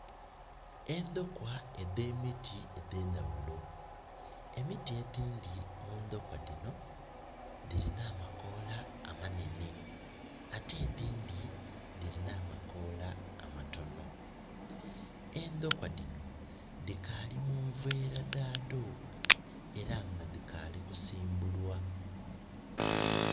Endokwa edemiti edendawulo. Emiti edindi mu ndokwa dino dirina amakoola amanene ate edindi dirina amakoola amatono. Endokwa dino dikali munveera dhado era nga dikali kusimbulwa